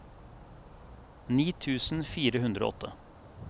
ni tusen fire hundre og åtte